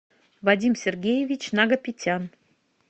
вадим сергеевич нагопетян